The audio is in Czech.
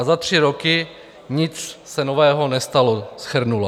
A za tři roky se nic nového nestalo," shrnula.